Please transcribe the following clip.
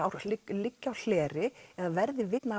liggi á hleri eða verði vitni